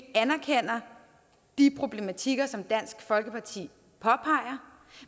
anerkender de problematikker som dansk folkeparti påpeger